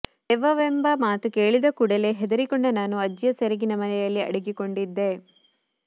ದೆವ್ವವೆಂಬ ಮಾತು ಕೇಳಿದ ಕೂಡಲೆ ಹೆದರಿಕೊಂಡ ನಾನು ಅಜ್ಜಿಯ ಸೆರಗಿನ ಮರೆಯಲ್ಲಿ ಅಡಗಿಕೊಂಡಿದ್ದೆ